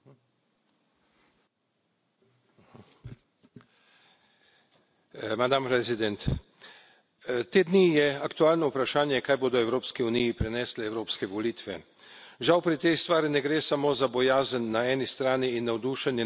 Gospa predsednica, te dni je aktualno vprašanje, kaj bodo Evropski uniji prinesle evropske volitve. Žal pri tej stvari ne gre samo za bojazen na eni strani in navdušenje na drugi nad pričakovano okrepitvijo evroskeptičnih ksenofobnih strank.